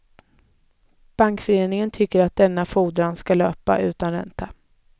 Bankföreningen tycker att denna fordran ska löpa utan ränta.